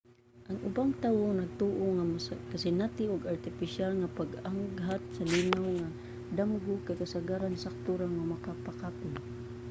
ang ubang tawo nagtoo nga ang makasinati ug artipisyal nga pag-aghat sa linaw nga mga damgo kay kasagaran sakto ra nga makapakapoy